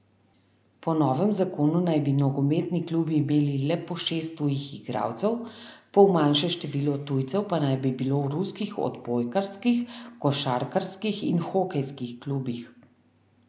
Po novem zakonu naj bi nogometni klubi imeli le po šest tujih igralcev, pol manjše število tujcev pa naj bi bilo v ruskih odbojkarskih, košarkarskih in hokejskih klubih.